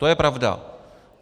To je pravda.